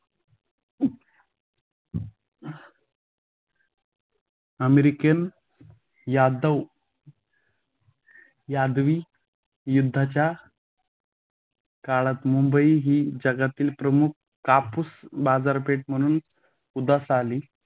American यादव यादवी युद्धाच्या काळात मुंबईही जगातील प्रमुख कापूस बाजारपेठ म्हणून उद्यास आली.